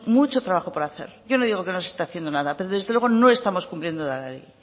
mucho trabajo por hacer yo no digo que no se esté haciendo nada pero desde luego no estamos cumpliendo la ley